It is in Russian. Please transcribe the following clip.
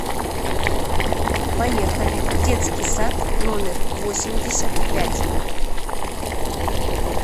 поехали детский сад номер восемьдесят пять